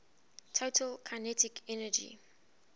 total kinetic energy